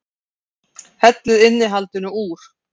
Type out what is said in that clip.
Hellið innihaldinu úr